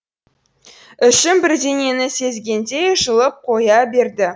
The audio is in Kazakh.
ішім бірдеңені сезгендей жылып қоя берді